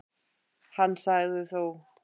Hann sagði þó